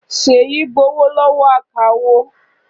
Ṣèyí gbowó lọ́wọ́ akawó.